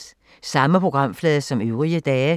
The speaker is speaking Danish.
Samme programflade som øvrige dage